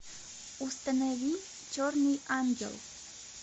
установи черный ангел